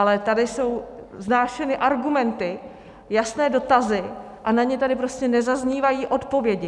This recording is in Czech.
Ale tady jsou vznášeny argumenty, jasné dotazy a na ně tady prostě nezaznívají odpovědi.